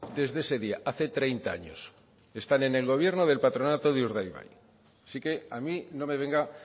desde ese día hace treinta años están en el gobierno del patronato de urdaibai así que a mí no me venga